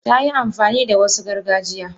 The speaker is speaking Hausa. Tayi amfani da Wasu gargajiya.